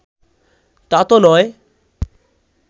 তা তো নয়